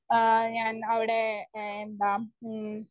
speaker 1 ആ ഞൻ അവിടെ എന്താം ഉം